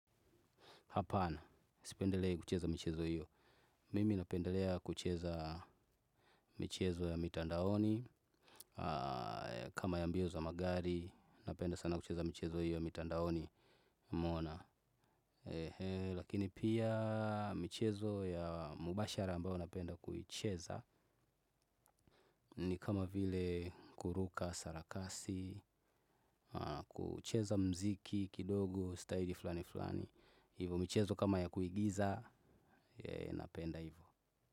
Hapana, sipendelei kucheza michezo hiyo. Mimi napendelea kucheza michezo ya mitandaoni. Kama ya mbio za magari napenda sana kucheza michezo hiyo ya mitandaoni umeona. Lakini pia michezo ya mubashara ambayo napenda kuicheza ni kama vile kuruka sarakasi, kucheza mziki, kidogo, staili flani flani. Hivo michezo kama ya kuigiza napenda hivo.